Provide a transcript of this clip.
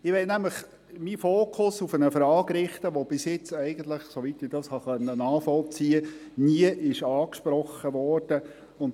Ich möchte meinen Fokus nämlich auf eine Frage richten, die bisher, soweit ich es nachvollziehen konnte, noch nicht angesprochen worden ist: